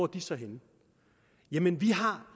de så henne jamen vi har